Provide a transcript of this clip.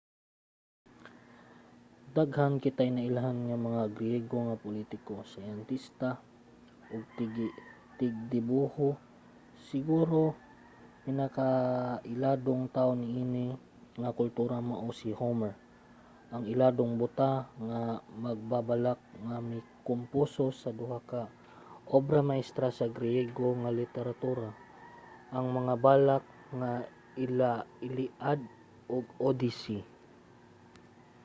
daghan kitay nailhan nga mga griego nga politiko siyentista ug tigdibuho. siguro ang pinakailadong tawo niini nga kultura mao si homer ang iladong buta nga magbabalak nga mikomposo sa duha ka obra maestra sa griego nga literatura: ang mga balak nga iliad ug odyssey